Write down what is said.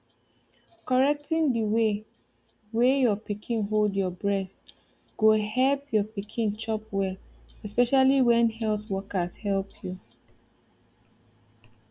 correcting the way wey your pikin hold your breast go help your pikin chop well especially when health workers help you